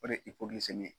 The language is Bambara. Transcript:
O de ye ye